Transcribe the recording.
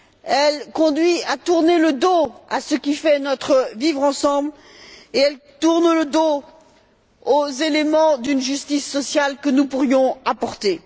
Elle conduit à tourner le dos à ce qui fait notre vivre ensemble et elle tourne le dos aux éléments d'une justice sociale que nous pourrions apporter.